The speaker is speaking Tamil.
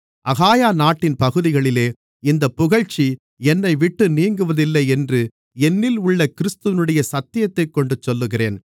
அகாயா நாட்டின் பகுதிகளிலே இந்தப் புகழ்ச்சி என்னைவிட்டு நீங்குவதில்லை என்று என்னில் உள்ள கிறிஸ்துவினுடைய சத்தியத்தைக்கொண்டு சொல்லுகிறேன்